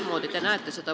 Mismoodi te seda näete?